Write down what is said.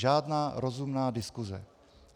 Žádná rozumná diskuse.